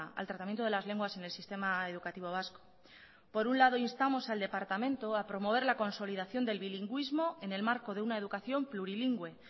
al tratamiento de las lenguas en el sistema educativo vasco por un lado instamos al departamento a promover la consolidación del bilingüismo en el marco de una educación plurilingüe